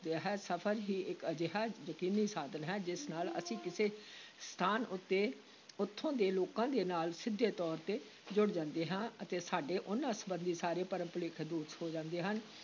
ਸਫ਼ਰ ਹੀ ਇਕ ਅਜਿਹਾ ਯਕੀਨੀ ਸਾਧਨ ਹੈ, ਜਿਸ ਨਾਲ ਅਸੀਂ ਕਿਸੇ ਸਥਾਨ ਉੱਤੇ ਉੱਥੋਂ ਦੇ ਲੋਕਾਂ ਦੇ ਨਾਲ ਸਿੱਧੇ ਤੌਰ ‘ਤੇ ਜੁੜ ਜਾਂਦੇ ਹਾਂ ਅਤੇ ਸਾਡੇ ਉਨ੍ਹਾਂ ਸੰਬੰਧੀ ਸਾਰੇ ਭਰਮ-ਭੁਲੇਖੇ ਦੂਰ ਹੋ ਜਾਂਦੇ ਹਨ।